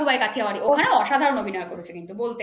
গাং গুবাই কাতিয়া বাড়ি ওখানে অসাধারণ অভিনয় করেছে বলতে গেলে